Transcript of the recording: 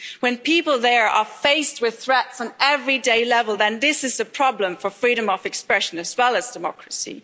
When people there are faced with threats on an everyday level, then this is a problem for freedom of expression, as well as democracy.